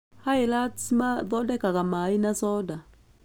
Highlands mathondekaga maĩ na coda.